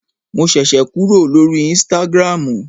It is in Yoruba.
Mo ṣẹ̀ṣẹ̀ kúrò lórí ísítágírámù